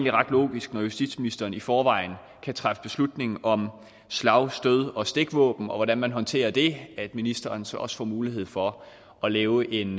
er ret logisk når justitsministeren i forvejen kan træffe beslutning om slag stød og stikvåben og hvordan man håndterer det at ministeren så også får mulighed for at lave en